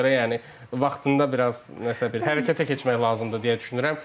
Ona görə yəni vaxtında biraz hərəkətə keçmək lazımdır deyə düşünürəm.